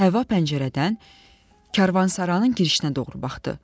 Həvva pəncərədən karvansaranın girişinə doğru baxdı.